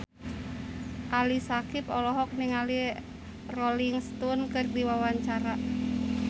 Ali Syakieb olohok ningali Rolling Stone keur diwawancara